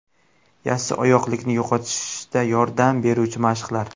Yassioyoqlikni yo‘qotishda yordam beruvchi mashqlar .